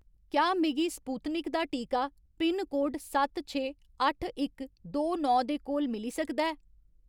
क्या मिगी स्पुत्निक दा टीका पिनकोड सत्त छे अट्ठ इक दो नौ दे कोल मिली सकदा ऐ ?